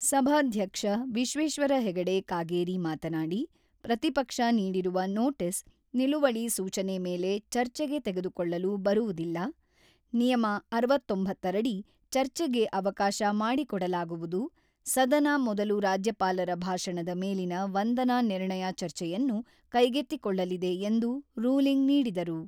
ಸಭಾಧ್ಯಕ್ಷ ವಿಶ್ವೇಶ್ವರ ಹೆಗಡೆ ಕಾಗೇರಿ ಮಾತನಾಡಿ, ಪ್ರತಿಪಕ್ಷ ನೀಡಿರುವ ನೋಟೀಸ್, ನಿಲುವಳಿ ಸೂಚನೆ ಮೇಲೆ ಚರ್ಚೆಗೆ ತೆಗೆದುಕೊಳ್ಳಲು ಬರುವುದಿಲ್ಲ, ನಿಯಮ ಅರವತ್ತೊಂಬತ್ತ ರಡಿ ಚರ್ಚೆಗೆ ಅವಕಾಶ ಮಾಡಿಕೊಡಲಾಗುವುದು, ಸದನ ಮೊದಲು ರಾಜ್ಯಪಾಲರ ಭಾಷಣದ ಮೇಲಿನ ವಂದನಾ ನಿರ್ಣಯ ಚರ್ಚೆಯನ್ನು ಕೈಗೆತ್ತಿಕೊಳ್ಳಲಿದೆ ಎಂದು ರೂಲಿಂಗ್ ನೀಡಿದರು.